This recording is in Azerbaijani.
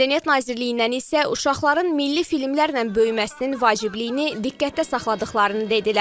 Mədəniyyət Nazirliyindən isə uşaqların milli filmlərlə böyüməsinin vacibliyini diqqətdə saxladıqlarını dedilər.